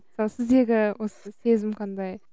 ал сіздегі осы сезім қандай